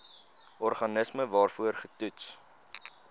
organisme waarvoor getoets